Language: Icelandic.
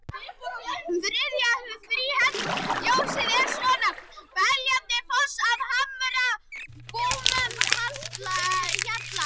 Þriðja þríhenda ljóðsins er svona: Beljandi foss við hamrabúann hjalar